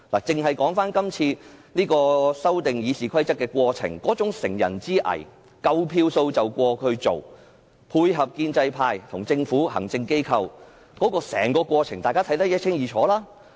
以今次修訂《議事規則》為例，完全是乘人之危，明知有足夠票數通過才提出有關的議案，建制派和政府互相配合，大家對於整個過程也看得一清二楚。